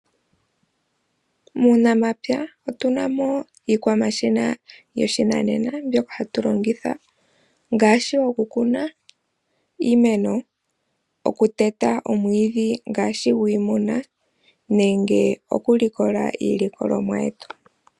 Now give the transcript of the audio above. Muunamapya otu na mo iikwamashina yoshinanena mbyoka hatu longitha ngaashi okukuna iimeno, okuteta omwiidhi ngaashi gwiimuna nenge okulikola iilikolomwa yetu.